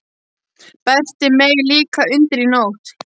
Berti meig líka undir í nótt!